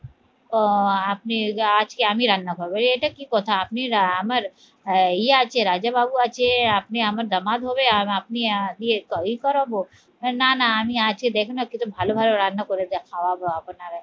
ও আপনি আজকে আমি রান্না করবো এই এটা কি কথা? আপনি আমার আহ ইয়ে আছে রাজাবাবু আছে আপনি আমার জামাত হবে আর আপনি ই করাবো? না না আমি আছি দেখুন আপনি তো ভালো ভালো রান্না করে খাওয়াবো